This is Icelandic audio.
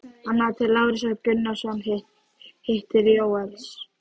Annað til Lárusar Gunnarssonar, hitt til Jóels.